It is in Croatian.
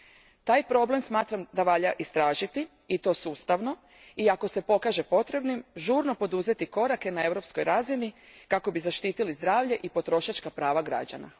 Smatram da taj problem valja istražiti, i to sustavno, i ako se pokaže potrebnim žurno poduzeti korake na Europskoj razini kako bismo zaštitili zdravlje i potrošačka prava građana.